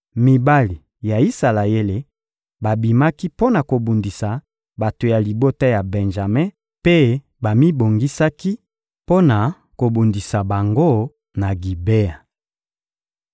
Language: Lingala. Mibali ya Isalaele babimaki mpo na kobundisa bato ya libota ya Benjame mpe bamibongisaki mpo na kobundisa bango na Gibea.